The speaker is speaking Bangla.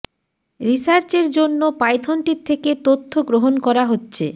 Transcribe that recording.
রিসার্চের জন্য পাইথনটির থেকে তথ্য গ্রহণ করা হচ্ছে